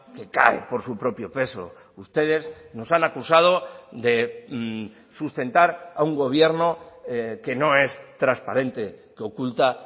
que cae por su propio peso ustedes nos han acusado de sustentar a un gobierno que no es transparente que oculta